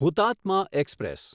Hutatma express